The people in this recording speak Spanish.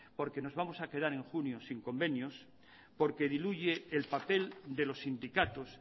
porque nos vamos a quedar en junio sin convenios porque diluye el papel de los sindicatos